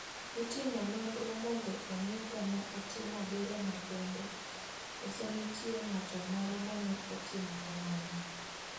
Itimi nonro mondo ong'e ka ne otimo berono kende kose nitie ng'ato moro mane otimo kamano.